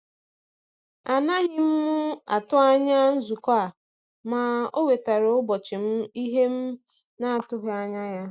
A naghị m atụ anya nzukọ a, ma ọ wetaara ụbọchị m ìhè m na-atụghị anya ya.